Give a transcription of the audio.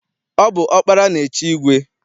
Ọ bụ ọkpara na-echi igwe.